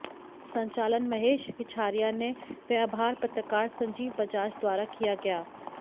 संचालन महेश रिछारिया ने व आभार पत्रकार संजीव बजाज द्वारा किया गया